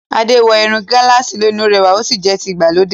Ade wọ irun gálààsì lónìí; Ó rẹwà ó sì jẹ́ ti ìgbàlódé.